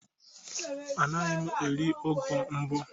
Anaghị m eri ugu mbụ